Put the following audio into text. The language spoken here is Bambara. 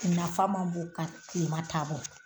Nafa ma bon ka kilema ta bɔ.